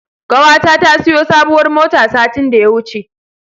Ƙawata ta siyo sabuwar mota satin da ya wuce.